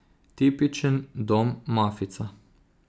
Tipičen dom mafijca.